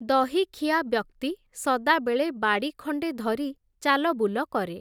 ଦହିଖିଆ ବ୍ୟକ୍ତି, ସଦାବେଳେ ବାଡ଼ି ଖଣ୍ଡେ ଧରି ଚାଲବୁଲ କରେ ।